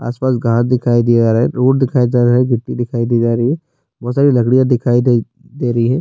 اس پاس گھر دکھائی دے رہا ہے۔ روڈ دکھائی دے رہا ہے۔ گیتی دکھائی دیا جا رہا ہے۔ بھوت ساری لکدیا دکھائی دے دے رہی ہے۔